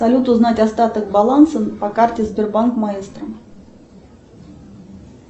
салют узнать остаток баланса по карте сбербанк маэстро